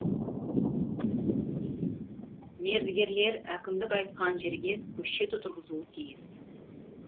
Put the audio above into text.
мердігерлер әкімдік айтқан жерге көшет отырғызуы тиіс